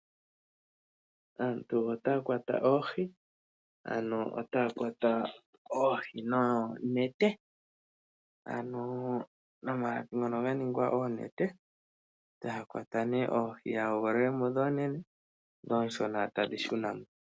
Aantu otaya kwata oohi. Ano otaya kwata oohi noonete. Ano nomalapi ngono ga ningwa oonete etaya kwata nee oohi dhawo. Ya hoogololemo ndhi oonene ndhi oonshona tadhi shunamo.